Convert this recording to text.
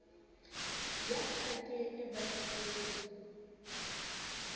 ya ka ke e bakilweng